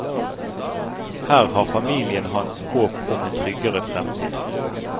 Her har familien hans håp om en tryggere fremtid.